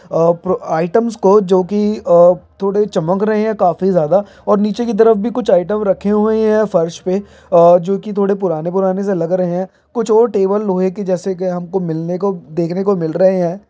और pro items को जोकी अ थोड़े चमक रहे है काफी ज्यादा और नीचे की तरफ भी कुछ आइटम रखे हुए ही है फर्श पे अ जो की थोड़े पुराने-पुराने से लग रहे है कुछ और टेबल लोहे के जैसे कई हमको मिलने को देखने को मिल रहे है।